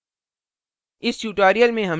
संक्षेप में